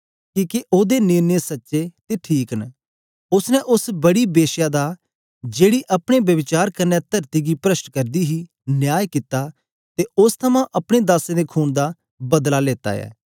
किके ओदे निर्णय सच्चे ते ठीक न उस्स ने उस्स बड़ी के श्या दा जेकी अपने ब्यभिचार कन्ने तरती गी प्रष्ट करदी हे न्याय कित्ता ते उस्स थमां अपने दासें दे खून दा बदला लेता ऐ